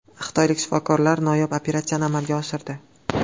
Xitoylik shifokorlar noyob operatsiyani amalga oshirdi.